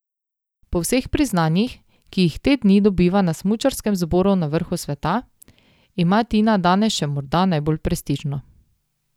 Po vseh priznanjih, ki jih te dni dobiva na smučarskem zboru na vrhu sveta, ima Tina danes še morda najbolj prestižno.